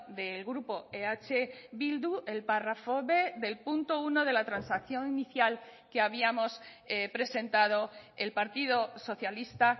del grupo eh bildu el párrafo b del punto uno de la transacción inicial que habíamos presentado el partido socialista